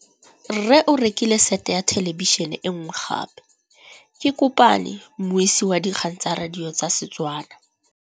Rre o rekile sete ya thêlêbišênê e nngwe gape. Ke kopane mmuisi w dikgang tsa radio tsa Setswana.